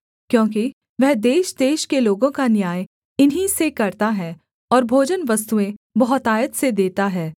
क्योंकि वह देशदेश के लोगों का न्याय इन्हीं से करता है और भोजनवस्तुएँ बहुतायत से देता है